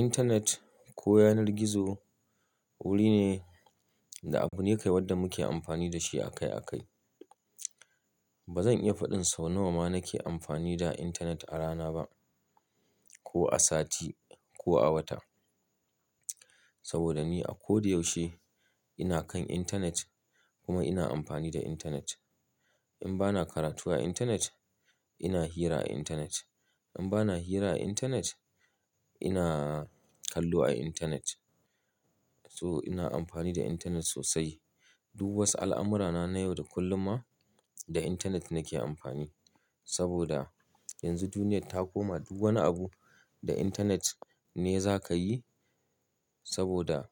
Intanet ko yanar gizo wuri ne da abu ne kai wanda muke amfani da shi akai akai. Ba zan iya faɗin sau nawa ma nake amfani da intanet a rana ba, ko a sati ko a wata. Saboda ni a ko da yaushe ina kan intanet kuma ina amfani da intanet. In ba na karatu a intanet, ina hira a intanet. In ba na hira a intanet, ina kallo a intanet. So ina amfani da intanet sosai. Duk wasu al'amurana na yau da kullum ma da intanet nake amfani. Saboda yanzu duniya ta koma duk wani abu da intanet ne za ka yi saboda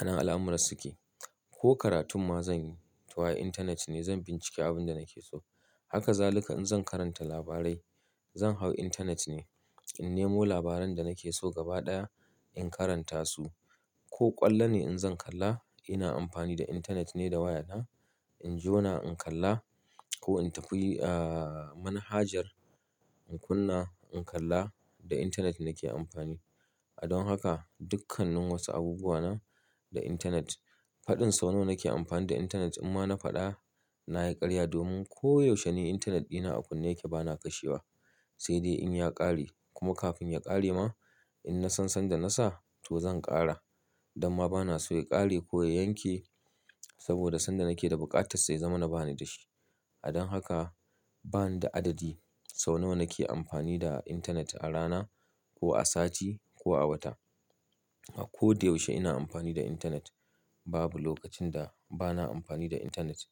a nan al'amuran suke. Ko karatun ma zan yi, to a intanet ne zan bincike abin da nake so. Haka zaluka in zan karanta labarai, zan hau intanet ne in nemo labaran da nake so gaba ɗaya in karanta su. Ko ƙwallo ne in zan kalla, ina amfani da intanet ne da waya na in jona in kalla ko in tafi, manhajar in kunna in kalla da intanet nake amfani. A don haka dukkanin wasu abubuwa na da intanet. Faɗin sau nawa nake amfani da intanet in ma na faɗa, na yi ƙarya domin ko yaushe ne intanet ɗina a kunne yake bana kashewa. Sai dai in ya ƙare kuma kafin ya ƙare ma in na san sanda na sa to zan ƙara. Dan ma bana so ya ƙare ko ya yanke saboda sanda nake da bukata sa ya zamana bani da shi. A don haka bani da adadi sau nawa nake amfani da intanet a rana ko a sati ko a wata. A ko da yaushe ina amfani da intanet. Babu lokacin da bana amfani da intanet.